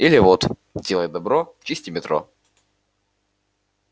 или вот делай добро чисти метро